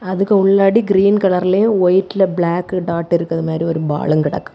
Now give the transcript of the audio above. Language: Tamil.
அதுக்கு உள்ளாடி கிரீன் கலர்லயும் ஒயிட்லெ பிளாக் டாட் இருக்கிற மாதிரி ஒரு பாலுங் கெடக்கு.